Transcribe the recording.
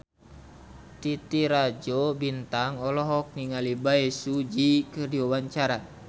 Titi Rajo Bintang olohok ningali Bae Su Ji keur diwawancara